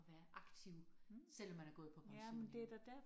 At være aktiv selvom man er gået på pension jo